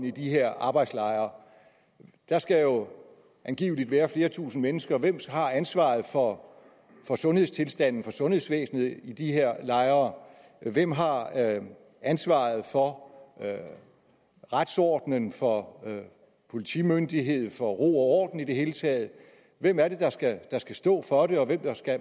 i de her arbejdslejre der skal jo angiveligt være flere tusinde mennesker hvem har ansvaret for for sundhedstilstanden for sundhedsvæsenet i de her lejre hvem har ansvaret for retsordenen for politimyndigheden for ro og orden i det hele taget hvem er det der skal stå for det og